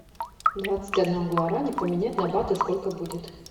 двадцать одна гуарани поменять на баты сколько будет